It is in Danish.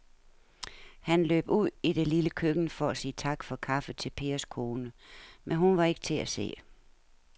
Han løb ud i det lille køkken for at sige tak for kaffe til Pers kone, men hun var ikke til at se.